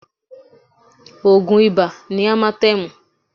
Oògùn Ibà ni Amatẹ́ẹ̀mù